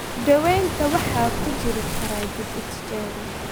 Daawaynta waxaa ku jiri kara dib u tijaabin.